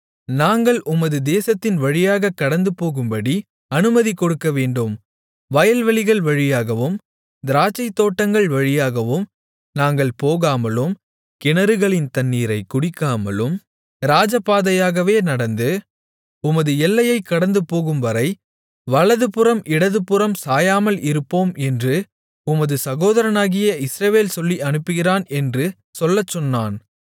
நாங்கள் உமது தேசத்தின் வழியாகக் கடந்துபோகும்படி அனுமதி கொடுக்கவேண்டும் வயல்வெளிகள் வழியாகவும் திராட்சைத்தோட்டங்கள் வழியாகவும் நாங்கள் போகாமலும் கிணறுகளின் தண்ணீரைக் குடிக்காமலும் ராஜபாதையாகவே நடந்து உமது எல்லையைக் கடந்துபோகும்வரை வலதுபுறம் இடதுபுறம் சாயாமல் இருப்போம் என்று உமது சகோதரனாகிய இஸ்ரவேல் சொல்லி அனுப்புகிறான் என்று சொல்லச்சொன்னான்